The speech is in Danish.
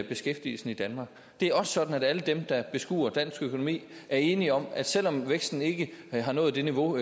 beskæftigelsen i danmark det er også sådan at alle dem der beskuer dansk økonomi er enige om at selv om væksten ikke har nået det niveau